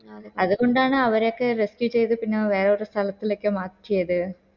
അത് കൊണ്ടാണ് അവരൊക്കെ rescue ചെയ്ത് പിന്നെ വേറെ ഒരു സ്ഥലത്തിലൊക്കെ മാറ്റിയത്